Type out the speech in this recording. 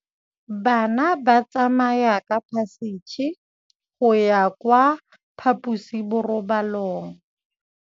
Bana ba tsamaya ka phašitshe go ya kwa phaposiborobalong.